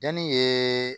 Yanni